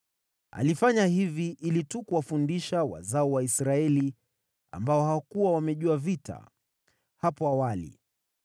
(alifanya hivi ili tu kuwafundisha wazao wa Waisraeli ambao hawakuwa wamejua vita hapo awali):